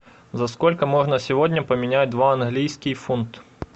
за сколько можно сегодня поменять два английский фунт